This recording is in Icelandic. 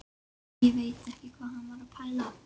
Ekki veit ég hvað hann var að pæla.